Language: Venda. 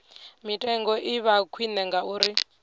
mitengo i vha khwine ngauri